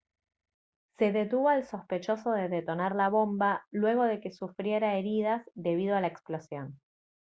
se detuvo al sospechoso de detonar la bomba luego de que sufriera heridas debido a la explosión